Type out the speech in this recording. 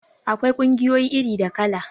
Akwai ƙungiyoyi iri da kala